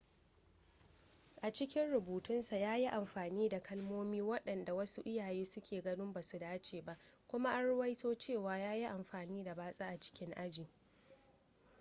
a cikin rubutunsa ya yi amfani da kalmomi waɗanda wasu iyayen suke ganin ba su dace ba kuma an ruwaito cewa ya yi amfani da batsa a cikin aji